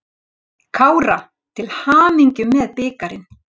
KÁRA til hamingju með bikarinn.